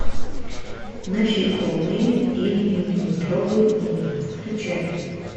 насекомые или миллиметровый мир включай